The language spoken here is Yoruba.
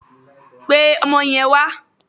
Pe ọmọ yen wà!